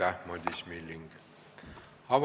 Aitäh, Madis Milling!